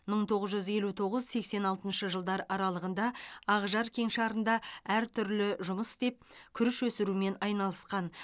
мың тоғыз жүз елу тоғыз сексен алтыншы жылдар аралығында ақжар кеңшарында әртүрлі жұмыс істеп күріш өсірумен айналысқан